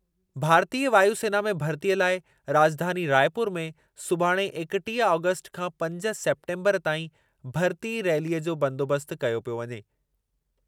भारतीय वायु सेना में भर्तीअ लाइ राजधानी रायपुर में सुभाणे एकटीह आगस्टु खां पंज सेप्टेम्बरु ताईं भरिती रैलीअ जो बंदोबस्तु कयो पियो वञे।